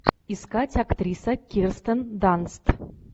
искать актриса кирстен данст